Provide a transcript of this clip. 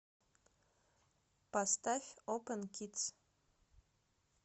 поставь опен кидс